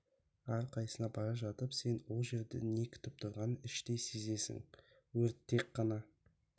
әрқайсысына бара жатып сені ол жерде не күтіп тұрғанын іштей сезесін өрт тек қана